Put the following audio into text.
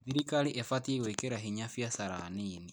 Thirikari ĩbatiĩ gwĩkĩra hinya biacara nini.